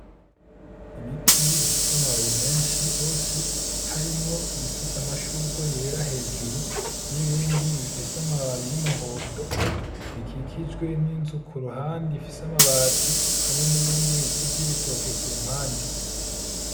Ibiti bifise amababi menshi gose , harimwo ibifise amashurwe yera hejuru n'ibindi bifise amababi y'umuhondo bikikijwe n'inzu kuruhande ifise amabati ,hamwe n'ibindi biti vy'ibitoke kumpande.